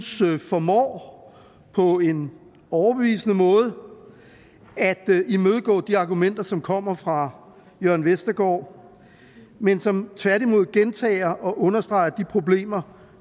synes formår på en overbevisende måde at imødegå de argumenter som kommer fra jørn vestergaard men som tværtimod gentager og understreger de problemer